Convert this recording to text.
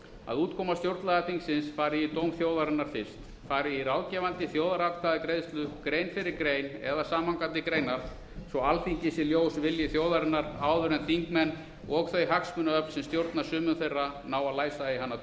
að útkoma stjórnlagaþingsins fari í dóm þjóðarinnar fyrst fari í ráðgefandi þjóðaratkvæðagreiðslu grein fyrir grein samhangandi greinar svo alþingi sé ljós vilji þjóðarinnar áður en þingmenn og þau hagsmunaöfl sem stjórna sumum þeirra ná að læsa í hana